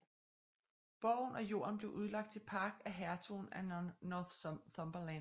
Borgen og jorden blev udlagt til park af hertugen af Northumberland